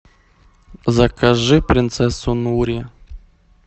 закажи принцессу нури